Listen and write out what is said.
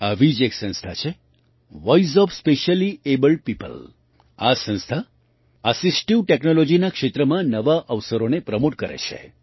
આવી જ એક સંસ્થા છે વોઇસ ઓએફ સ્પેશ્યલીએબલ્ડ પીઓપલ આ સંસ્થા એસિસ્ટિવ technologyના ક્ષેત્રમાં નવા અવસરોને પ્રમૉટ કરે છે